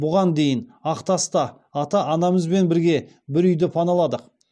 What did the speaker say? бұған дейін ақтаста ата анамызбен бірге бір үйді паналадық